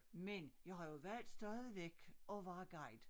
Men jeg har jo valgt stadigvæk at være guide